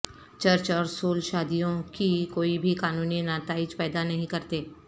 church اور civil شادیوں کی کوئی بھی قانونی نتائج پیدا نہیں کرتے